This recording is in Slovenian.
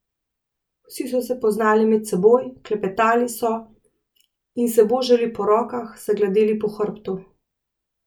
Vsi so se poznali med seboj, klepetali so in se božali po rokah, se gladili po hrbtu.